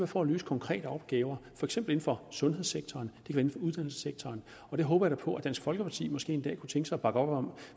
for at løse konkrete opgaver for eksempel inden for sundhedssektoren det kan uddannelsessektoren og det håber jeg da på at dansk folkeparti måske en dag kunne tænke sig at bakke op om